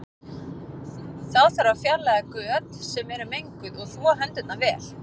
Þá þarf að fjarlæga föt sem eru menguð og þvo hendurnar vel.